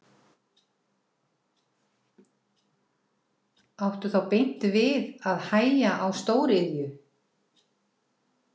Helga Arnardóttir: Áttu þá beint við að hægja á stóriðju?